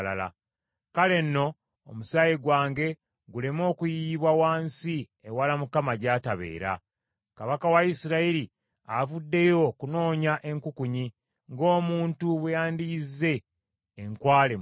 Kale nno omusaayi gwange guleme okuyiyibwa wansi ewala Mukama gy’atabeera. Kabaka wa Isirayiri avuddeyo okunoonya enkukunyi, ng’omuntu bwe yandiyizze enkwale mu nsozi.”